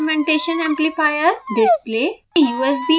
instrumentation amplifier display